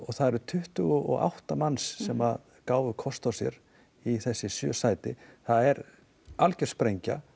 það eru tuttugu og átta manns sem gáfu kost á sér í þessi sjö sæti það er alger sprengja